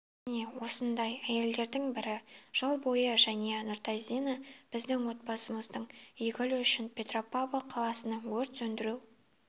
міне осындай әйелдердің бірі жыл бойы жәния нұртазина біздің отанымыздың игілігі үшін петропавл қаласының өрт сөндіру